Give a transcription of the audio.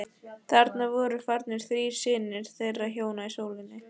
Þarna voru farnir þrír synir þeirra hjóna í sjóinn.